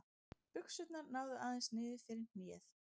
Buxurnar náðu aðeins niður fyrir hnéð.